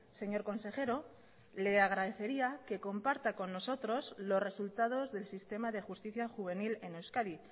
señor consejero le agradecería que comparta con nosotros los resultados del sistema de justicia juvenil en euskadi